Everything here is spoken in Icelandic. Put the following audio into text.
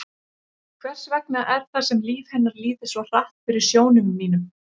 Hvers vegna er það sem líf hennar líði svo hratt fyrir sjónum mínum?